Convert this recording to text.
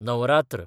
Navratra